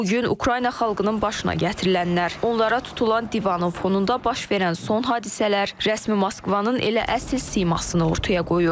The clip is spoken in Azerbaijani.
Bu gün Ukrayna xalqının başına gətirilənlər, onlara tutulan divanın fonunda baş verən son hadisələr rəsmi Moskvanın elə əsl simasını ortaya qoyur.